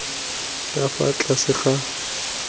ka fa tlase ga ditlhogo